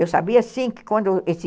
Eu sabia sim que quando esse...